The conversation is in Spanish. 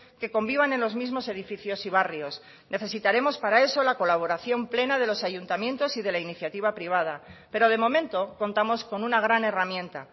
que convivan en los mismos edificios y barrios necesitaremos para eso la colaboración plena de los ayuntamientos y de la iniciativa privada pero de momento contamos con una gran herramienta